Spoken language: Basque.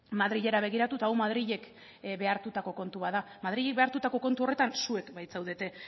madrilera begiratu eta hau madrilek behartutako kontua da madrilek behartutako kontu horretan zuek baitzaudete